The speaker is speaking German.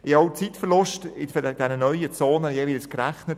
Ich habe auch die Zeitverluste in diesen neuen Zonen jeweils berechnet.